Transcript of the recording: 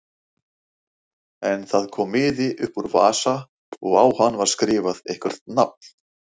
En það kom miði upp úr vasa og á hann var skrifað eitthvert nafn.